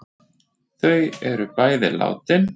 Þau er bæði látin.